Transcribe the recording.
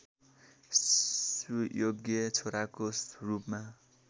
सुयोग्य छोराको रूपमा